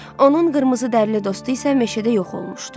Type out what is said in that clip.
Onun qırmızı dərli dostu isə meşədə yox olmuşdu.